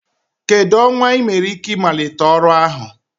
Kedu ọnwa ị nwere ike ịmalite ọrụ ahụ?